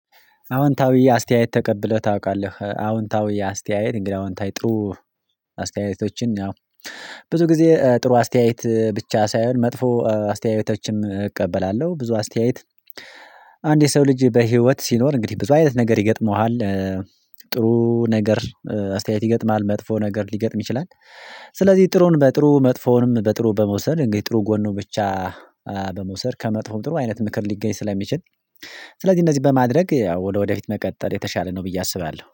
አወንታዊ አስተያየት ተቀብለህ ታውቃለህ አወንታዊ አስተያየት እንግዲህ አወንታዊ ጥሩ አስተያየቶችን ያው ብዙ ጊዜ ጥሩ አስተያየት ብቻ ሳይሆን መጥፎ አስተያየቶችም እቀበላለሁ ብዙ አስተያየት። አንድ የሰው ልጅ በህይወት ሲኖር እንግዲህ ብዙ አይነት ነገር ይገጥመዋል። ጥሩ ነገር አስተያየት ይገጥማል መጥፎ ነገር ሊገጥም ይችላል። ስለዚህ ጥሩን በጥሩ መጥፎውንም በጥሩ በመውሰድ ጥሩ ጎኑ ብቻ በመውሰድ ከመጥፎም ጥሩ አይነት ምክር ሊገኝ ስለሚችል። ስለዚህ እንደዚህ በማድረግ ያው ወደፊት መቀጠል የተሻለ ነው ብዬ አስባለሁ